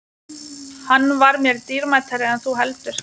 Hann var mér dýrmætari en þú heldur.